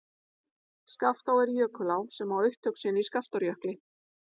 Skaftá er jökulá sem á upptök sín í Skaftárjökli.